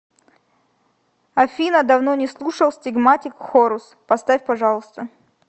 афина давно не слушал стигматик хорус поставь пожалуйста